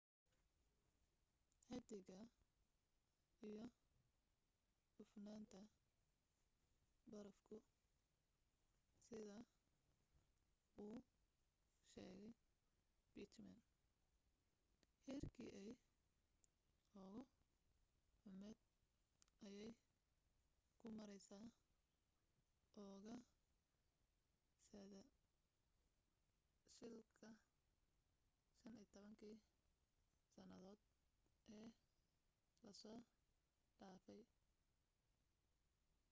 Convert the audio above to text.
xaddiga iyo cufnaanta barafku sida uu sheegay pittman heerkii ay ugu xummayd ayay ku maraysaa ugaadhsatada siilka 15 kii sannadood ee la soo dhaafay